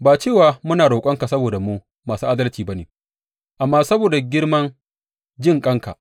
Ba cewa muna roƙonka saboda mu masu adalci ba ne, amma saboda girman jinƙanka.